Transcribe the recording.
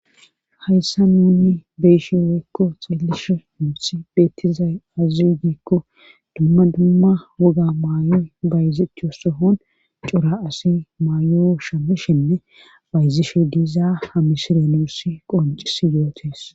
hayssa nunni beyshe weykko xeellishu muuthi beettizay azaziyo giikko dumma dumma woga maayo bayzecho sohon cora asi maayo shammishenne bayzishe diizaa hamisire nuuss qoncis yootes